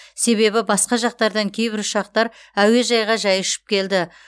себебі басқа жақтардан кейбір ұшақтар әуежайға жай ұшып келді